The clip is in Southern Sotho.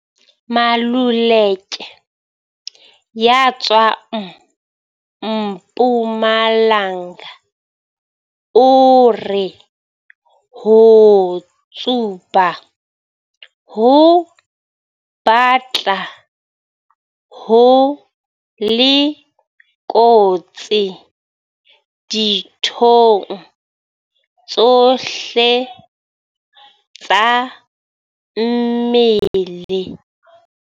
Maluleke ya tswang Mpumalanga o re ho tsuba ho batla ho le kotsi dithong tsohle tsa mmele.